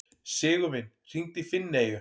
Sigurvin, hringdu í Finneyju.